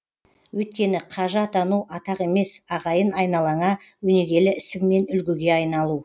өйткені қажы атану атақ емес ағайын айналаңа өнегелі ісіңмен үлгіге айналу